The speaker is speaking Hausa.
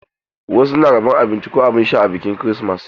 Wasu na rabon abinci ko abin sha ranar kirismas.